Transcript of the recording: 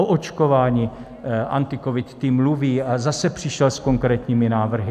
O očkování AntiCovid tým mluví a zase přišel s konkrétními návrhy.